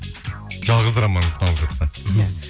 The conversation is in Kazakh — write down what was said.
жалғыз романыңыз сыналып жатса